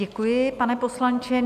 Děkuji, pane poslanče.